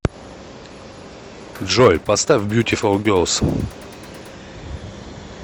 джой поставь бьютифул герлс